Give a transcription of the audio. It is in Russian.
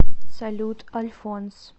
салют альфонс